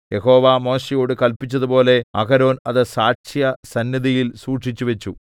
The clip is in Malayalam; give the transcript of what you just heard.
യഹോവ മോശെയോട് കല്പിച്ചതുപോലെ അഹരോൻ അത് സാക്ഷ്യസന്നിധിയിൽ സൂക്ഷിച്ചുവച്ചു